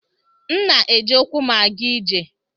M na-eji ụkwụ m aga ije.